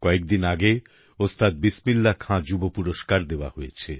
কয়েকদিন আগে ওস্তাদ বিসমিল্লাহ খান যুব পুরস্কার দেওয়া হয়েছে